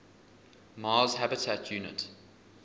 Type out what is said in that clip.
mars habitat unit